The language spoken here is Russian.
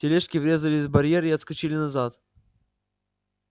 тележки врезались в барьер и отскочили назад